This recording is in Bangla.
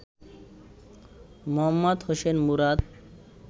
মোহাম্মদ হোসেন মুরাদ